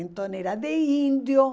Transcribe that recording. Então, era de índio.